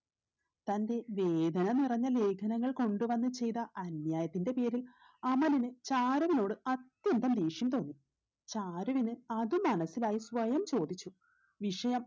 തന്റെ വേദന നിറഞ്ഞ ലേഖനങ്ങൾ കൊണ്ട് വന്ന് ചെയ്ത അന്യായത്തിന്റെ പേരിൽ അമലിന് ചാരുവിനോട് അത്യന്തം ദേഷ്യം തോന്നി ചാരുവിന് അത് മനസിലായി സ്വയം ചോദിച്ചു വിഷയം